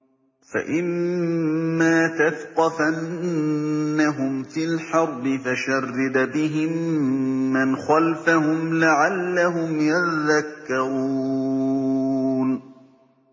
فَإِمَّا تَثْقَفَنَّهُمْ فِي الْحَرْبِ فَشَرِّدْ بِهِم مَّنْ خَلْفَهُمْ لَعَلَّهُمْ يَذَّكَّرُونَ